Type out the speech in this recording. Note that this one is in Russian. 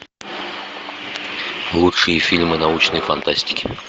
лучшие фильмы научной фантастики